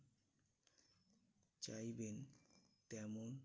চাইবেন তেমন